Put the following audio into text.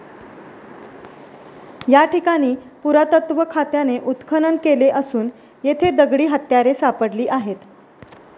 या ठिकाणी पुरातत्त्व खात्याने उत्खनन केले असून येथे दगडी हत्यारे सापडली आहेत.